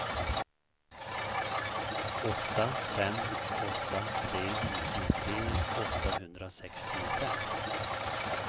åtta fem åtta tre nittiotre åttahundrasextiofem